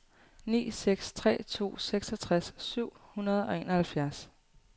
ni seks tre to seksogtres syv hundrede og enoghalvfjerds